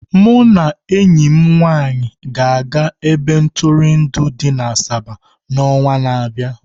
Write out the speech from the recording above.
Mụ na enyi m nwanyị ga-aga ebe ntụrụndụ dị na Asaba n'ọnwa na-abịa.